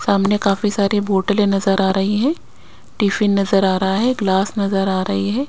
सामने काफी सारी बोटलें नजर आ रही हैं टिफिन नजर आ रहा है ग्लास नजर आ रही है।